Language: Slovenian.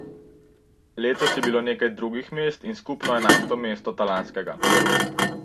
Letos je bilo nekaj drugih mest in skupno enajsto mesto Talanskega.